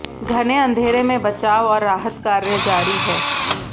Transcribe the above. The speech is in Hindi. घने अंधेरे में बचाव और राहत कार्य जारी है